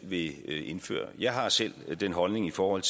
vil indføre jeg har selv den holdning i forhold